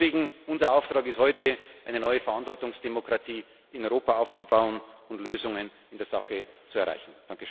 Deswegen ist unser Auftrag heute, eine neue Verantwortungsdemokratie in Europa aufzubauen und Lösungen in der Sache zu erreichen.